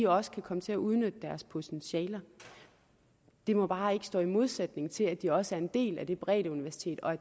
også kan komme til at udnytte deres potentiale det må bare ikke stå i modsætning til at de også er en del af det breddeuniversitet og at